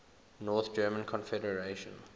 north german confederation